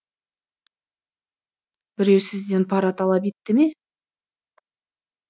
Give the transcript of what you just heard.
біреу сізден пара талап етті ме